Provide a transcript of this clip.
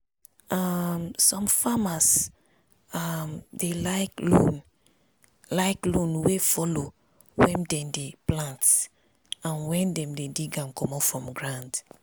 um some farmers um dey like loan like loan wey follow when dem dey plant and when dem dey dig am comot from ground